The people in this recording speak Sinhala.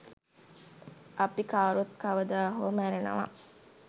අපි කවුරුත් කවදාහෝ මැරෙනවා